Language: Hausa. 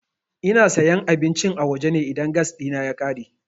Ina sayan abincin a waje ne idan gas ɗina ya ƙare.